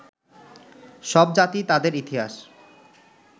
সব জাতি তাদের ইতিহাস